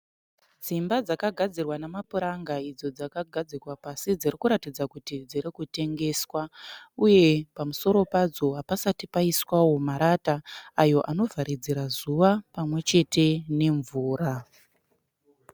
Dzimba dzakagadzirwa nemapuranga idzo dzakagadzikwa pasi dzirikuratidza kuti dzirikutengeswa uye pamusoro padzo hapasati paiswawo marata ayo anovharidzira zuva pamwe chete mvura.